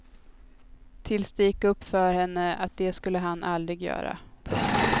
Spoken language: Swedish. Tills det gick upp för henne att det skulle han aldrig göra. punkt